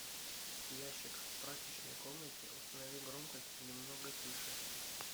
ящик в прачечной комнате установи громкость немного тише